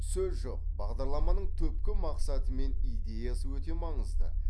сөз жоқ бағдарламаның түпкі мақсаты мен идеясы өте маңызды